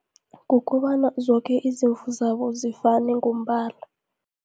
Kukobana zoke izimvu zabo zifane ngombala.